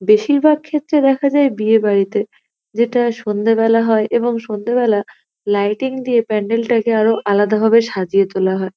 বেশিরভাগ ক্ষেত্রে দেখা যায় বিয়ে বাড়িতে যেটা সন্ধ্যেবেলা হয় এবং সন্ধ্যেবেলা লাইটিং দিয়ে প্যান্ডেল টাকে আরো আলাদাভাবে সাজিয়ে তোলা হয়।